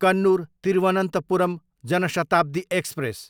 Kannur, Thiruvananthapuram Jan Shatabdi express